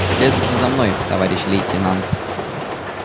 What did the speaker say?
следуйте за мной товарищ лейтенант